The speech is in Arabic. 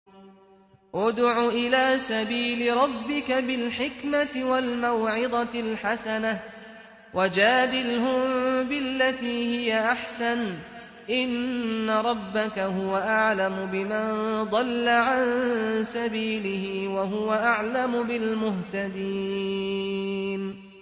ادْعُ إِلَىٰ سَبِيلِ رَبِّكَ بِالْحِكْمَةِ وَالْمَوْعِظَةِ الْحَسَنَةِ ۖ وَجَادِلْهُم بِالَّتِي هِيَ أَحْسَنُ ۚ إِنَّ رَبَّكَ هُوَ أَعْلَمُ بِمَن ضَلَّ عَن سَبِيلِهِ ۖ وَهُوَ أَعْلَمُ بِالْمُهْتَدِينَ